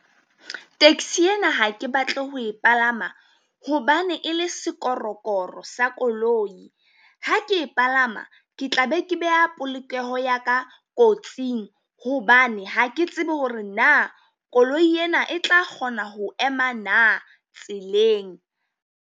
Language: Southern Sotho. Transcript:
Taxi ena ha ke batle ho e palama hobane e le sikorokoro sa koloi. Ha ke e palama, ke tla be ke beha polokeho ya ka kotsing, hobane ha ke tsebe hore na koloi ena e tla kgona ho ema na tseleng.